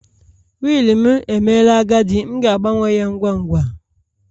Willu m emela agadi, m ga-agbanwe ya ngwa ngwa